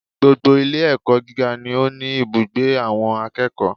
Gbogbo Ilé ẹ̀kọ́ gíga ni ó ní ibùgbé àwọn akẹ́kọ̀ọ́